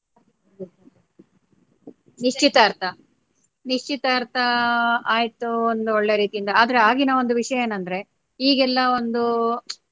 ನಿಶ್ಚಿತಾರ್ಥ ನಿಶ್ಚಿತಾರ್ಥ ಆಯ್ತು ಒಂದು ಒಳ್ಳೆ ರೀತಿಯಿಂದ ಆದ್ರೆ ಆಗಿನ ಒಂದು ವಿಷಯ ಏನ್ ಅಂದ್ರೆ ಈಗೆಲ್ಲಾ ಒಂದು.